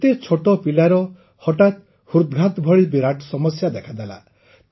ଏତେ ଛୋଟ ପିଲାର ହଠାତ୍ ହୃଦଘାତ ଭଳି ବିରାଟ ସମସ୍ୟା ଦେଖାଦେଲା